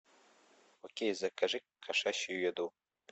окей закажи кошачью еду